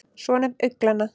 svonefnd augnglenna